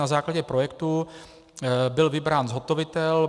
Na základě projektu byl vybrán zhotovitel.